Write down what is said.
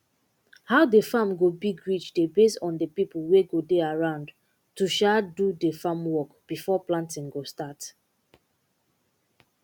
how de farm go big reach dey base on de pipo wey go dey around to um do de farm work before planting go start